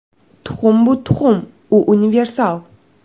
Tuxum bu tuxum, u universal”.